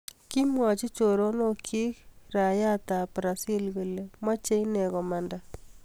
Kiimwachi choronok chik raiyait ab brazil kole macheii inee komandaa